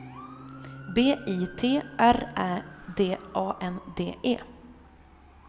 B I T R Ä D A N D E